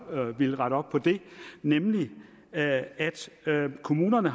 villet rette op på nemlig at kommunerne